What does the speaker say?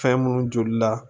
Fɛn munnu joli la